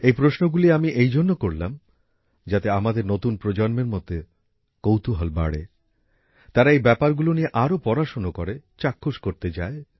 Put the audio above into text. এই প্রশ্নগুলি আমি এই জন্য করলাম যাতে আমাদের নতুন প্রজন্মের মধ্যে কৌতুহল বাড়ে তারা এই ব্যাপারগুলো নিয়ে আরও পড়াশোনা করে চাক্ষুষ করতে যায়